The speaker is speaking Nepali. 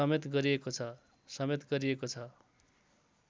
समेत गरिएको छ